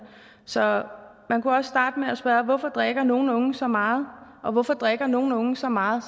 så man kunne også starte med at spørge hvorfor drikker nogle unge så meget og hvorfor drikker nogle unge så meget